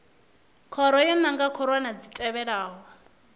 khoro yo nanga khorwana dzi tevhelaho